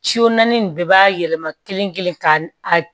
naani nin bɛɛ b'a yɛlɛma kelen kelen ka a